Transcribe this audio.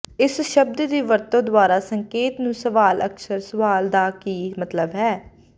ਇਸ ਸ਼ਬਦ ਦੀ ਵਰਤੋ ਦੁਆਰਾ ਸੰਕੇਤ ਨੂੰ ਸਵਾਲ ਅਕਸਰ ਸਵਾਲ ਦਾ ਕੀ ਮਤਲਬ ਹੈ